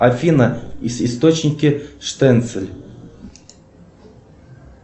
афина источники штенцель